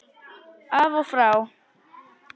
Af og frá!